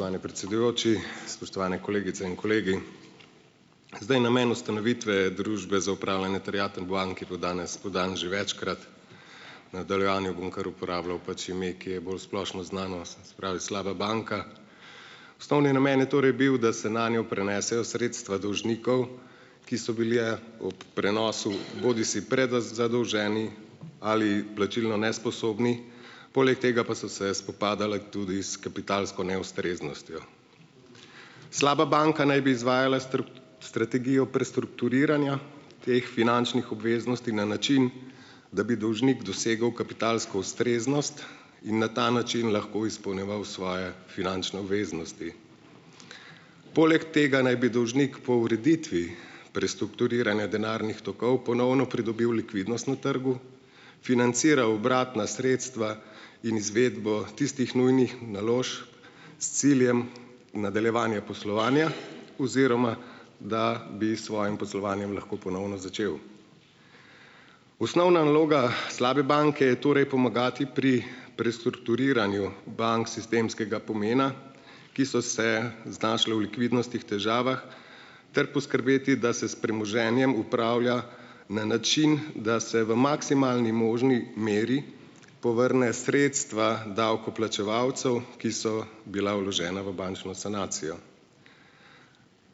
Spoštovani predsedujoči, spoštovane kolegice in kolegi! Zdaj namen ustanovitve Družbe za upravljanje je bil danes podan že večkrat. V nadaljevanju bom kar uporabljal pač ime, ki je bolj splošno znano, se pravi slaba banka. Osnovni namen je torej bil, da se nanjo prenesejo sredstva dolžnikov, ki so bili ob prenosu bodisi zadolženi ali plačilno nesposobni. Poleg tega pa so se spopadala tudi s kapitalsko neustreznostjo. Slaba banka naj bi izvajala strategijo prestrukturiranja teh finančnih obveznosti na način, da bi dolžnik dosegel kapitalsko ustreznost in na ta način lahko izpolnjeval svoje finančne obveznosti. Poleg tega naj bi dolžnik po ureditvi prestrukturiranja denarnih tokov ponovno pridobil likvidnost na trgu, financiral obratna sredstva in izvedbo tistih nujnih naložb s ciljem nadaljevanja poslovanja, oziroma da bi s svojim poslovanjem lahko ponovno začel. Osnovna naloga, slabe banke je torej pomagati pri prestrukturiranju bank sistemskega pomena, ki so se znašle v likvidnostih težavah ter poskrbeti, da se s premoženjem upravlja na način, da se v maksimalni možni meri povrne sredstva davkoplačevalcev, ki so bila vložena v bančno sanacijo.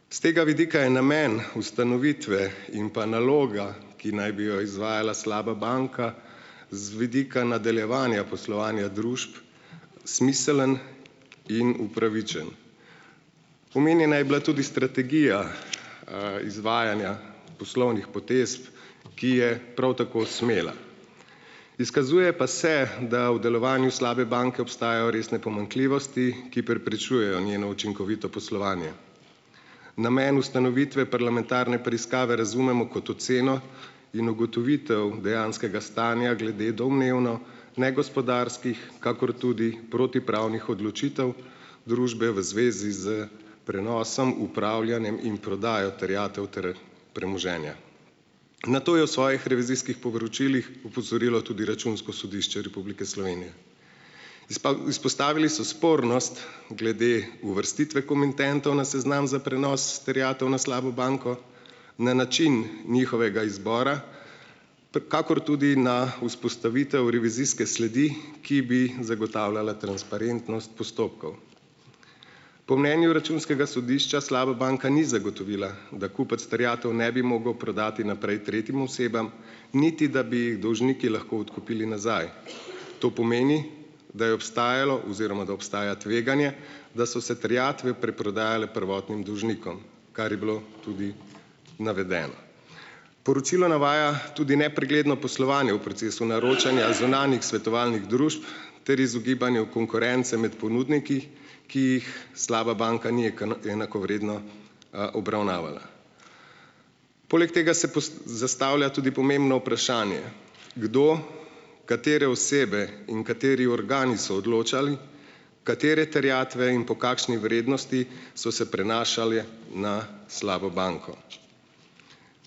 S tega vidika je namen ustanovitve in pa naloga, ki naj bi jo izvajala slaba banka, z vidika nadaljevanja poslovanja družb smiseln in upravičen. Omenjena je bila tudi strategija, izvajanja poslovnih potez, ki je prav tako smela. Izkazuje pa se, da o delovanju slabe banke obstajajo resne pomanjkljivosti, ki preprečujejo njeno učinkovito poslovanje. Namen ustanovitve parlamentarne preiskave razumemo kot oceno in ugotovitev dejanskega stanja glede domnevno negospodarskih kakor tudi protipravnih odločitev družbe v zvezi s prenosom, upravljanjem in prodajo terjatev ter premoženja. Na to je v svojih revizijskih poročilih opozorilo tudi Računsko sodišče Republike Slovenije. izpostavili so spornost glede uvrstitve komitentov na seznam za prenos terjatev na slabo banko, na način njihovega izbora kakor tudi na vzpostavitev revizijske sledi, ki bi zagotavljala transparentnost postopkov. Po mnenju Računskega sodišča slaba banka ni zagotovila, da kupec terjatev ne bi mogel prodati naprej tretjim osebam, niti da bi dolžniki lahko odkupili nazaj. To pomeni, da je obstajalo oziroma da obstaja tveganje, da so se terjatve preprodajale prvotnim dolžnikom, kar je bilo tudi navedeno. Poročilo navaja tudi nepregledno poslovanje v procesu naročanja zunanjih svetovalnih družb ter izogibanju konkurence med ponudniki, ki jih slaba banka ni enakovredno, obravnavala. Poleg tega se zastavlja tudi pomembno vprašanje, kdo, katere osebe in kateri organi so odločali, katere terjatve in po kakšni vrednosti so se prenašale na slabo banko.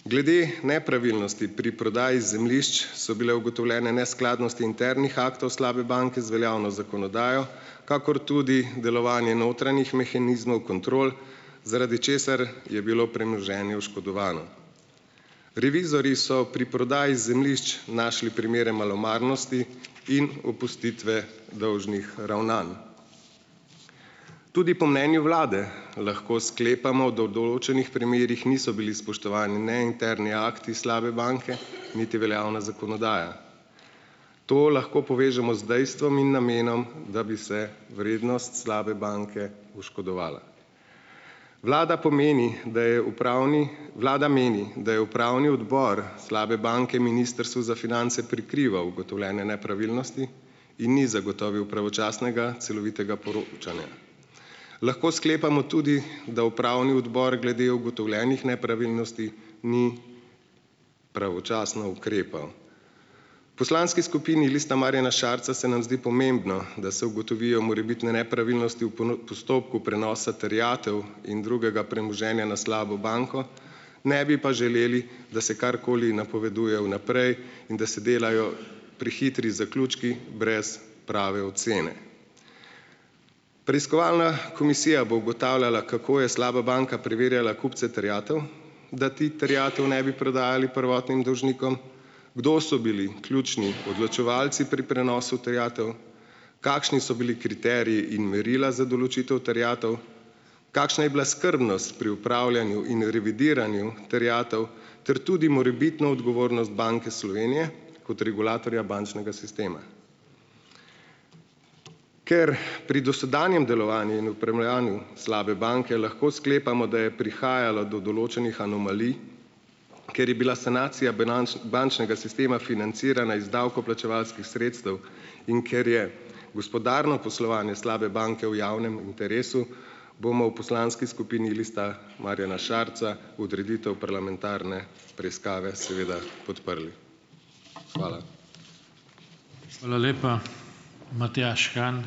Glede nepravilnosti pri prodaji zemljišč so bile ugotovljene neskladnosti internih aktov slabe banke z veljavno zakonodajo kakor tudi delovanje notranjih mehanizmov, kontrol, zaradi česar je bilo premoženje oškodovano. Revizorji so pri prodaji zemljišč našli primere malomarnosti in opustitve dolžnih ravnanj. Tudi po mnenju vlade lahko sklepamo, da v določenih primerih niso bili spoštovani ne interni akti slabe banke niti veljavna zakonodaja. To lahko povežemo z dejstvom in namenom, da bi se vrednost slabe banke oškodovala. Vlada pa meni, da je upravni, vlada meni, da je upravni odbor slabe banke Ministrstvu za finance prikrival ugotovljene nepravilnosti in ni zagotovil pravočasnega celovitega poročanja. Lahko sklepamo tudi, da upravni odbor glede ugotovljenih nepravilnosti ni pravočasno ukrepal. Poslanski skupini Lista Marjana Šarca se nam zdi pomembno, da se ugotovijo morebitne nepravilnosti v postopku prenosa terjatev in drugega premoženja na slabo banko, ne bi pa želeli, da se karkoli napoveduje vnaprej, in da se delajo prehitri zaključki brez prave ocene. Preiskovalna komisija bo ugotavljala, kako je slaba banka preverjala kupce terjatev, da ti terjatev ne bi prodajali prvotnim dolžnikom. Kdo so bili ključni odločevalci pri prenosu terjatev? Kakšni so bili kriteriji in merila za določitev terjatev? Kakšna je bila skrbnost pri opravljanju in revidiranju terjatev ter tudi morebitno odgovornost Banke Slovenije kot regulatorja bančnega sistema. Ker pri dosedanjem delovanju slabe banke lahko sklepamo, da je prihajalo do določenih anomalij, ker je bila sanacija bančnega sistema financirana iz davkoplačevalskih sredstev in ker je gospodarno poslovanje slabe banke v javnem interesu bomo v poslanski skupini Lista Marjana Šarca odreditev parlamentarne preiskave seveda podprli. Hvala. Hvala lepa, Matjaž Han.